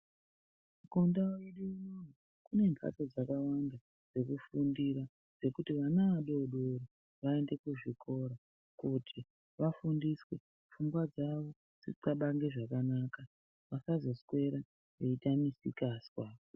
Kundau yedu ino kune mphatso dzakawanda dzekufundira, dzekuti ana adodori, vaende kuzvikora kuti vafundiswe, pfungwa dzavo dzixabange zvakanaka, vasazoswera veiita misikazwa.